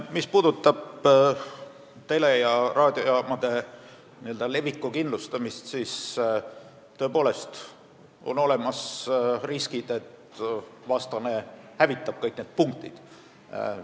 Mis puudutab tele- ja raadiojaamade info leviku kindlustamist, siis tõepoolest on olemas riskid, et vastane hävitab kõik need punktid.